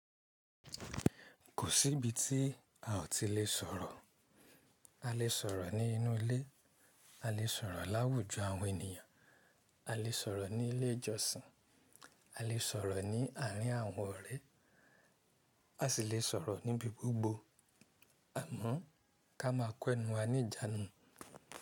Kò sí ibi tí a ò ti lè sọ̀rọ̀. A lè sọ̀rọ̀ ní inú ilé, a lè sọ̀rọ̀ láwùjọ àwọn ènìyàn, a lè sọ̀rọ̀ ní ilé ìjọsìn, a lè sọ̀rọ̀ ní àárín àwọn ọ̀rẹ́, a sì lè sọ̀rọ̀ níbi gbogbo. Àmọ́ ká máa kẹ́nu wa ní ìjánu.